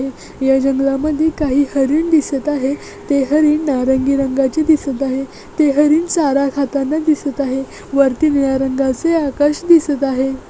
या जंगलामध्ये काही हरिण दिसत आहे ते हरिण नारंगी रंगाचे दिसत आहे ते हरिण चारा खाताना दिसत आहे वरती निळ्या रंगाचे आकाश दिसत आहे.